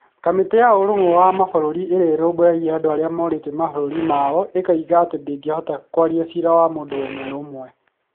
Kamĩtĩ ya Ũrũmwe wa Mabũrũri Ĩrĩa Ĩrũmbũyagia Andũ arĩa morĩte mabũrũri yao ĩkoiga atĩ ndĩhotaga kwaria cira wa mũndũ ũmwe ũmwe